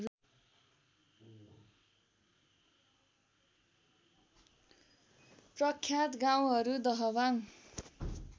प्रख्यात गाउँहरू दहबाङ